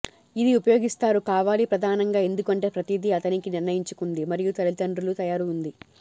ఇది ఉపయోగిస్తారు కావాలి ప్రధానంగా ఎందుకంటే ప్రతిదీ అతనికి నిర్ణయించుకుంది మరియు తల్లిదండ్రులు తయారు ఉంది